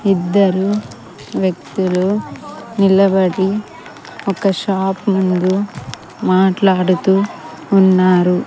ఇద్దరూ వ్యక్తులు నిలబడి ఒక షాప్ ముందు మాట్లాడుతూ ఉన్నారు.